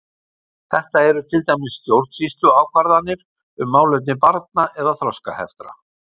Þetta eru til dæmis stjórnsýsluákvarðanir um málefni barna eða þroskaheftra.